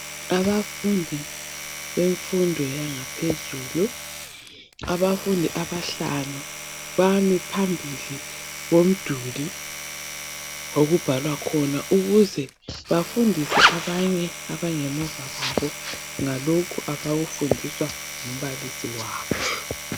Abafundi bemfundo yangaphezulu. Abafundi abahlanu bami phambili komduli okubhalwa khona ukuze bafundise abanye abangemuva ngalokho abakufundiswa ngumbalisi wabo.